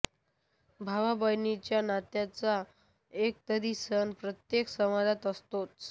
भावाबहिणीच्या नात्याचा एक तरी सण प्रत्येक समाजात असतोच